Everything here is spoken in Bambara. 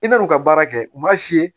I bɛ n'u ka baara kɛ u b'a f'i ye